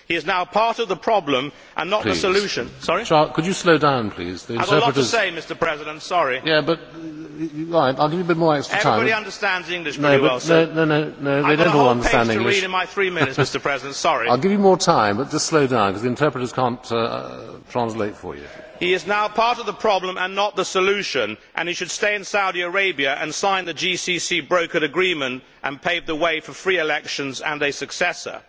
He is now part of the problem and not the solution and he should stay in Saudi Arabia and sign the GCC brokered agreement and pave the way for free elections and a successor.